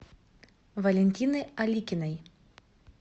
валентины аликиной